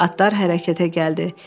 Atlar hərəkətə gəldi.